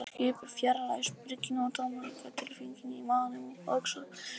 Skipið fjarlægðist bryggjuna og tómleikatilfinningin í maganum óx að sama skapi.